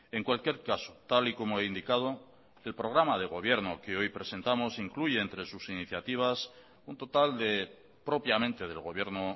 en cualquier caso tal y como he indicado el programa de gobierno que hoy presentamos incluye entre sus iniciativas un total de propiamente del gobierno